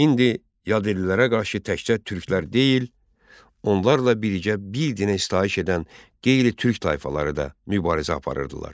İndi yad ellilərə qarşı təkcə Türklər deyil, onlarla birgə bir dinə sitayiş edən qeyri-Türk tayfaları da mübarizə aparırdılar.